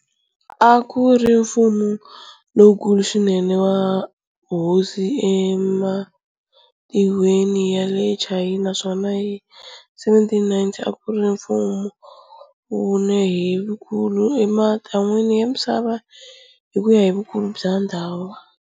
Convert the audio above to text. A ku ri mfumo lowukulu swinene wa hosi ematin'wini ya le Chayina naswona hi 1790 a ku ri mfumo vumune hi vukulu ematin'wini ya misava hi ku ya hi vukulu bya ndhawu.